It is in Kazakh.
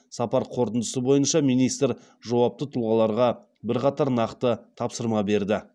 сапар қорытындысы бойынша министр жауапты тұлғаларға бірқатар нақты тапсырма берді